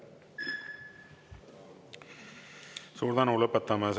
Suur tänu!